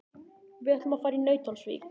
Við ætlum að fara í Nauthólsvík.